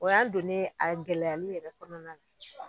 O y'an donni ye a gɛlɛyali yɛrɛ kɔnɔna na.